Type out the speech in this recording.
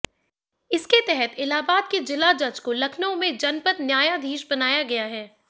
इसके तहत इलाहाबाद के जिला जज को लखनऊ में जनपद न्यायाधीश बनाया गया है